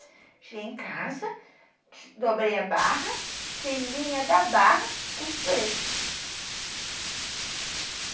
Cheguei em casa, dobrei a barra, tirei linha da barra, costurei.